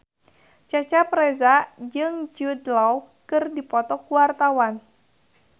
Cecep Reza jeung Jude Law keur dipoto ku wartawan